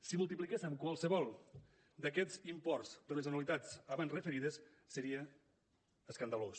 si multipliquéssem qualsevol d’aquests imports per les anualitats abans referides seria escandalós